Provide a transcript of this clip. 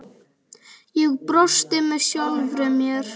Ég brosti með sjálfri mér.